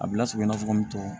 A bila sigi i n'a fɔ n bɛ tɔw